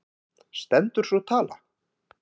Stendur sú tala?